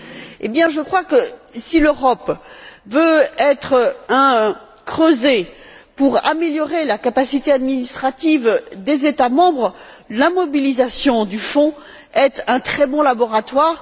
Eh bien, je crois que si l'Europe veut être un creuset pour une amélioration de la capacité administrative des États membres, la mobilisation du Fonds est un très bon laboratoire